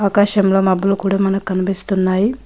ఒక శిమ్లా మబ్బులు కూడా మనకు కనిపిస్తున్నాయి.